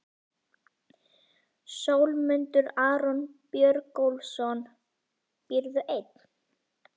Sólmundur Aron Björgólfsson Býrðu einn?